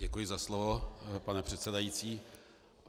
Děkuji za slovo, pane předsedající.